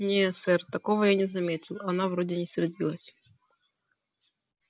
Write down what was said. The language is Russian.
не сэр такого я не заметил она вроде не сердилась